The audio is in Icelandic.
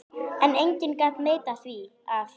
En enginn gat neitað því að